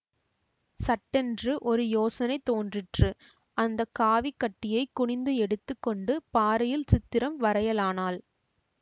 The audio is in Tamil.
சட்டென்று ஒரு யோசனை தோன்றிற்று அந்த காவிக் கட்டியைக் குனிந்து எடுத்து கொண்டு பாறையில் சித்திரம் வரையலானாள்